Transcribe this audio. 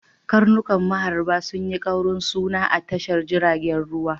Karnukan maharba sun yi kaurin suna a tashar jiragen ruwa.